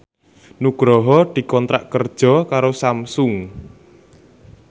Nugroho dikontrak kerja karo Samsung